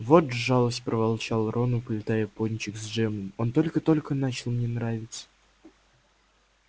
вот жалость проворчал рон уплетая пончик с джемом он только-только начал мне нравиться